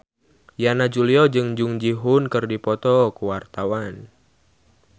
Yana Julio jeung Jung Ji Hoon keur dipoto ku wartawan